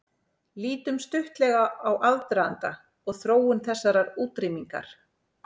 Lítum stuttlega á aðdraganda og þróun þessarar útrýmingar.